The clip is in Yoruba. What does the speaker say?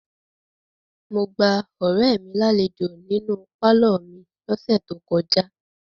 Mo gba ọ̀rẹ́ mi lálejò nínú pálọ̀ mi lọ́sẹ̀ tó kọjá.